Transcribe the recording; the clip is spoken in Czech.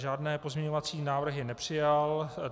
Žádné pozměňovací návrhy nepřijal.